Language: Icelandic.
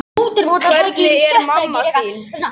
Hvernig er mamma þín?